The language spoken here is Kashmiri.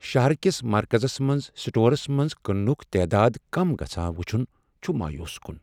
شہر کس مرکزس منز سٹورس منٛز کننک تعداد کم گژھان وٕچھن چھ مایوس کن۔